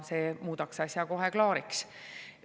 See muudaks asja kohe klaariks.